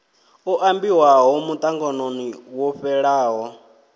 o ambiwaho muṱanganoni wo fhelaho